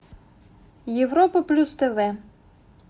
европа плюс тв